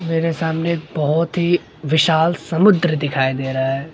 मेरे सामने एक बहोत ही विशाल समुद्र दिखाई दे रहा हैं।